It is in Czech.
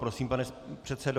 Prosím, pane předsedo.